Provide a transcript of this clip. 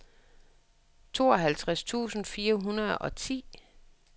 tooghalvtreds tusind fire hundrede og ti